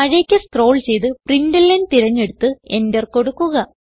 താഴേക്ക് സ്ക്രോൾ ചെയ്ത് println തിരഞ്ഞെടുത്ത് Enter കൊടുക്കുക